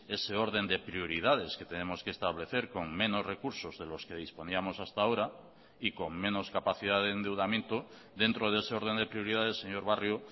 ese orden de prioridades que tenemos que establecer con menos recursos de los que disponíamos hasta ahora y con menos capacidad de endeudamiento dentro de ese orden de prioridades señor barrio